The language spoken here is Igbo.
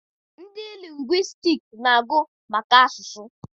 Ndị lingwistiks na-agụ maka asụsụ.